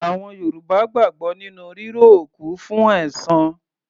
Àwọn Yorùbá gbàgbọ́ nínú ríró òkú fún ẹ̀san.